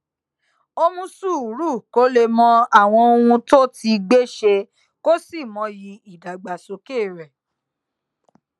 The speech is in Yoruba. ó mú sùúrù kó lè mọ àwọn ohun tó ti gbé ṣe kó sì mọyì ìdàgbàsókè rè